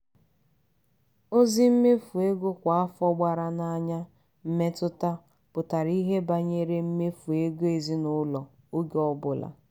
ozi mmefu ego kwa afọ gbara n'anya mmetụta pụtara ihe banyere mmefu ego ezinụlọ oge ọbụla.